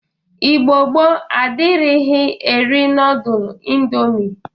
Igbo gboo adịrighi eri nọdụl indomi.